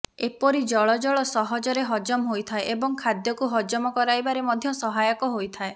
ଏପରି ଜଳ ଜଳ ସହଜରେ ହଜମ ହୋଇଥାଏ ଏବଂ ଖାଦ୍ୟକୁ ହଜମ କରାଇବାରେ ମଧ୍ୟ ସହାୟକ ହୋଇଥାଏ